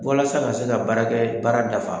Walasa ka se ka baarakɛ baara dafa